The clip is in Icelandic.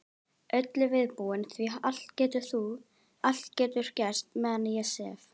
Öllu viðbúin því allt getur gerst meðan ég sef.